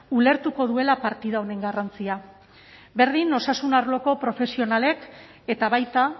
ulertuko duela partida honen garrantzia berdin osasun arloko profesionalek eta baita